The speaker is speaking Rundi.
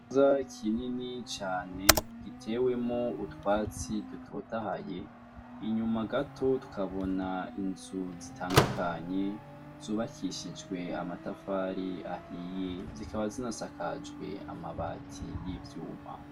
Ikibuga kinini cane gitewemwo utwatsi dutotahaye, inyuma gato tukabona inzu zitandukanye, zubakishijwe amatafari ahiye, zikaba zinasakajwe amabati y'ivyuma.